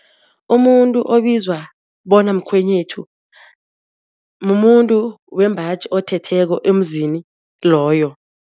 Umuntu obizwa bona mkhwenyethu, mumuntu wembaji othetheko emzini loyo.